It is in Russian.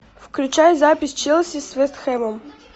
включай запись челси с вест хэвом